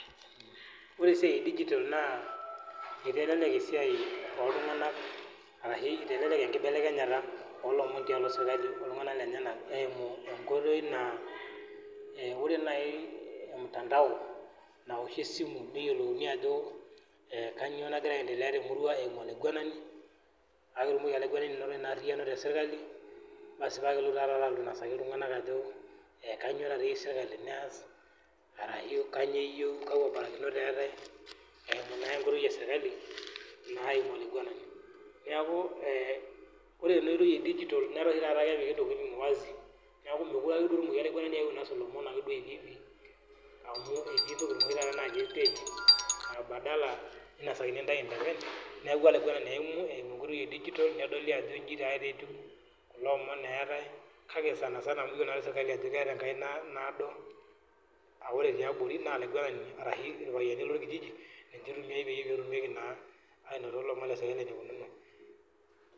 oree esia e dijitol naa eitelelek esia ooltungana arashu eitelelek enkibelekenyata oo lomoon tialo sirikali oltungana lenyenak eimu enkoitoi naa oree naai mtandao naoshie esimu neyolouni ajo kanyio nagira aendelea temurua eimu olaiguanani paa ketumoki olaiguanani ainoto in ariyiano tesirkali baasi paa kelelotu taa tata ayeu ainosaki iltunganak ajo kanyio taata eyieu sirikali neas arashu kaakua barakinot eatae eimu naa enkoitoi e sirikali naa eimu olaiguanani neeku ore ena oitoi e dijitol netaa tata kepiki intokitin wazi neeku mekure ake etumoki olaiguanani ainosu ilomon ake hivihivi amuu etii intokitin oshii taata naati pending badala neinasakini intae inkakeny neeku olaiguanani eimu eimu enkoitoi ee dijitol nedoli ajo injii taatoi ake etiu kulo omon eetae kake sanasana amu iyiolo naa sirkali ajo keeta enkaina naado aa ore tiabori naa olaiguanani aashu ilpayiani lolkiijiji ninche eitumiai peetumi naa ainoto ilonom lesirkali eneikununo